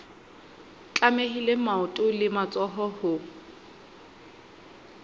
tlamehile maoto le matsoho ho